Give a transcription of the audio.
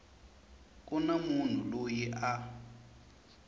ku na munhu loyi a